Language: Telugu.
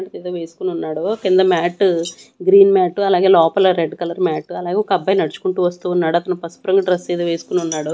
ఏదో వేసుకుని ఉన్నాడు కింద మ్యాట్టు గ్రీన్ మ్యాట్ అలాగే లోపల రెడ్ కలర్ మ్యాట్ అలాగే ఒక అబ్బాయి నడుచుకుంటూ వస్తూ ఉన్నాడు అతను పసుపు రంగు డ్రెస్సు ఏదో వేసుకుని ఉన్నాడు.